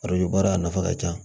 baara a nafa ka ca